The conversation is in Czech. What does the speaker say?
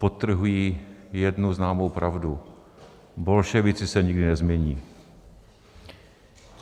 Podtrhují jednu známou pravdu - bolševici se nikdy nezmění.